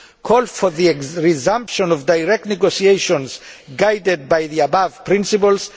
call for the resumption of direct negotiations guided by the above principles